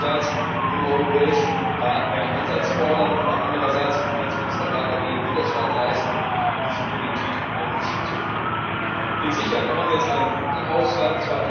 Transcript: Einerseits im Europäischen Rat mehr Einsatz fordern, aber andererseits im Rat der Finanzminister dagegen Widerstand leisten diese Politik nenne ich schizophren. Ich bin sicher, wir haben jetzt einen guten Haushalt